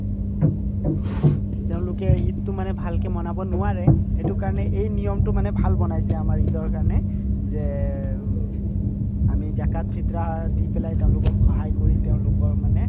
তেওঁলোকে ঈদতো মানে ভালকে manawa নোৱাৰে সেইটো কাৰণে এই নিয়মতো মানে ভাল বনাইছে আমাৰ ঈদৰ কাৰণে যে উম আমি জাকাত ফিত্ৰাহ দি পেলাই তেওঁলোকক সহায় কৰি তেওঁলোকৰ মানে